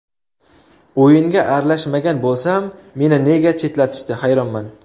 O‘yinga aralashmagan bo‘lsam, meni nega chetlatishdi, hayronman.